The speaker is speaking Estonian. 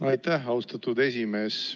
Aitäh, austatud esimees!